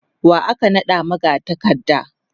wa aka naɗa magatakarda?